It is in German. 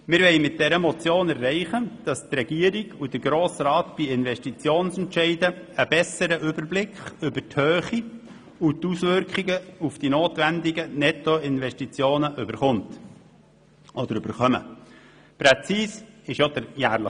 Wir wollen mit dieser Motion erreichen, dass die Regierung und der Grosse Rat bei Investitionsentscheiden einen besseren Überblick über die Höhe und die Auswirkungen der notwendigen Nettoinvestitionen erhalten.